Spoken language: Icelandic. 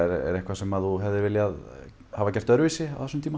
er eitthvað sem þú hefðir viljað gera öðruvísi